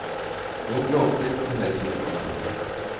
Noen gråspurv kan høres nedenfor verandaen.